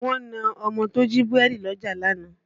Wọ́n na ọmọ tó jí búrẹ́dì lọ́jà lánàá